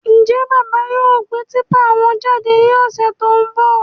Njẹ bàbá yóò gbé típà wọn jáde ní ọsẹ tó n bọ?